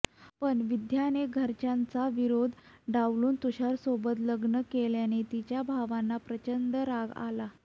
पण विद्याने घरच्यांचा विरोध डावलून तुषारसोबत लग्न केल्याने तिच्या भावांना प्रचंड राग आला